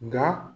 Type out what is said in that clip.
Nka